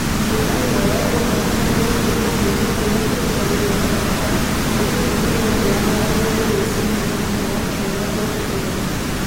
ngũkwĩhoya ũndirikanie gũthiĩ nyũmba-inĩ kũrĩa kwĩrutagĩrwo mathako mĩthenya-inĩ yothe ya mwambĩrĩrio rũci-inĩ mũthenya wa kiumia ũtukũ